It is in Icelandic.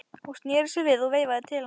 Hún sneri sér við og veifaði til hans.